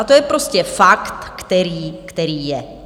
A to je prostě fakt, který je.